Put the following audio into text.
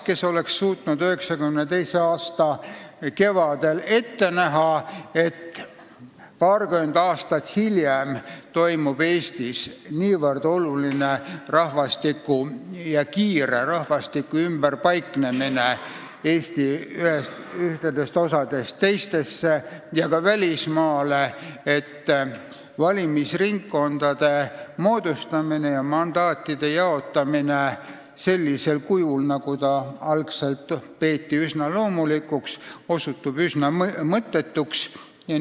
Kes oleks suutnud 1992. aasta kevadel ette näha, et paarkümmend aastat hiljem toimub Eestis niivõrd oluline ja kiire rahvastiku ümberpaiknemine riigi ühest osast teise ja ka välismaale, et valimisringkondade moodustamine ja mandaatide jaotamine sellisel kujul, mida algul peeti loomulikuks, osutub üsna mõttetuks?